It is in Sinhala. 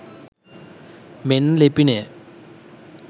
මෙන්න ලිපිනය